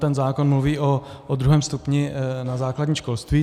Ten zákon mluví o druhém stupni na základním školství.